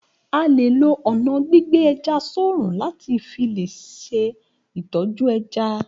A lè lo ọna gbígbé ẹja sorun lati filè ṣe itọju ẹja